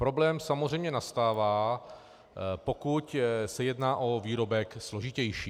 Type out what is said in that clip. Problém samozřejmě nastává, pokud se jedná o výrobek složitější.